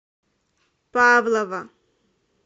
павлово